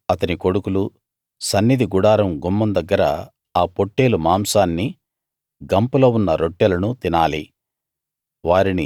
అహరోను అతని కొడుకులు సన్నిధి గుడారం గుమ్మం దగ్గర ఆ పొట్టేలు మాంసాన్నీ గంపలో ఉన్న రొట్టెలనూ తినాలి